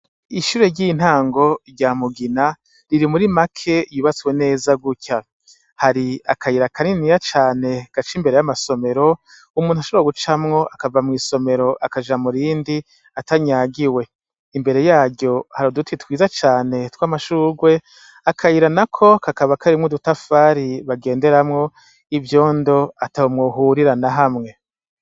Ishure ry'intango rya Mugina riri muri make yubatswe neza gutya. Hari akayira kaniniya cane gaca imbere y'amasomero umuntu ashobora gucamwo akava mw'isomero akaja mu rindi atanyagiwe. Imbere yaryo hari uduti twiza cane tw'amashurwe, akayira nako kakaba karimwo udutafari bagenderamwo, ivyondo ataho mwohurira na hamwe.